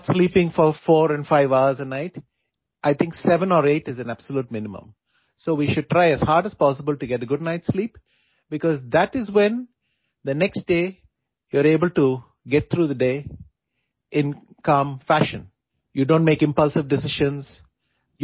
رات کو چار سے پانچ گھنٹے تک سونا شروع نہ کریں، میرے خیال میں سات یا آٹھ گھنٹے کی نیند کم کم لینی چاہئے، اس لیے ہمیں رات کو اچھی نیند لینے کے لیے ہر ممکن کوشش کرنی چاہیے، کیونکہ اسی صورت آپ اگلے دن پورا دن پرسکون انداز سے گزارنے میں اہل ہوسکتے ہیں